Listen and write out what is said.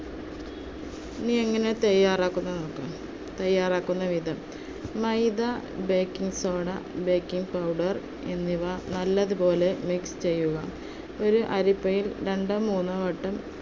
ഇനി എങ്ങനെ തയ്യാറാക്കുന്നത് എന്ന് നോക്കാം. തയ്യാറാക്കുന്ന വിധം maida baking soda, baking powder എന്നിവ നല്ലതുപോലെ mix ചെയ്യുക. ഒരു അരിപ്പയിൽ രണ്ടോ മൂന്നോ വട്ടം